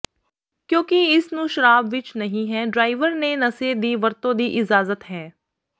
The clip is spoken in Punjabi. ਕਿਉਕਿ ਇਸ ਨੂੰ ਸ਼ਰਾਬ ਵਿੱਚ ਨਹੀ ਹੈ ਡਰਾਈਵਰ ਨੇ ਨਸ਼ੇ ਦੀ ਵਰਤੋ ਦੀ ਇਜਾਜ਼ਤ ਹੈ